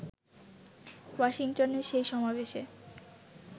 ওয়াশিংটনের সেই সমাবেশে